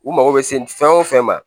U mago bɛ se fɛn o fɛn ma